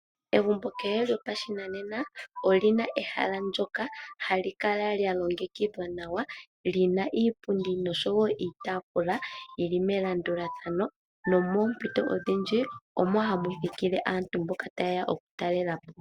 Egumbo kehe lyopashinanena olina ehala ndjoka hali kala longedhwa nawa, lina iipundi noshowo iitaafula, yili melandulathano, nopoompito odhindji, omo hamu thikile aantu mboka ta yeya okutalelapo.